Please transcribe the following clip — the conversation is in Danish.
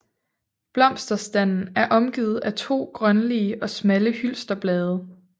Blomsterstanden er omgivet af 2 grønlige og smalle hylsterblade